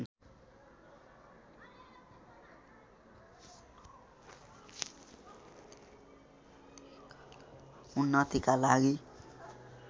उन्नतिका लागि